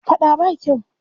Faɗa ba kyau.